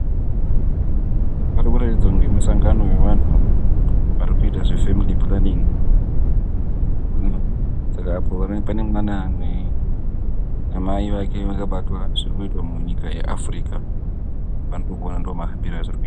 Pari kuratidza kuti musangano wevanhu vari kuita zvefemili pulanin'i. Saka apo pane mwana. Amai vake vakabatwa zviri kuitwa munyika yeAfirika. Ndozvandiri kuona ndomahambire azviri kuita.